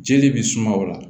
Jeli bɛ suma o la